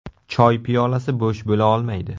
Choy piyolasi bo‘sh bo‘la olmaydi.